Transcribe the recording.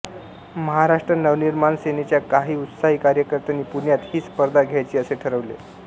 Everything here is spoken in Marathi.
महाराष्ट्र नवनिर्माण सेनेच्या काही उत्साही कार्यकर्त्यांनी पुण्यात ही स्पर्धा घ्यायची असे ठरवले